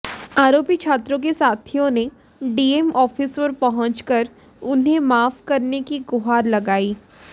आरोपी छात्रों के साथियों ने डीएम ऑफिस पर पहुंचकर उन्हें माफ करने की गुहार लगाई